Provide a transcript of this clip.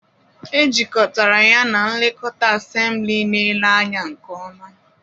Ejikọtara ya na nlekọta, ensembles na-ele anya nke ọma.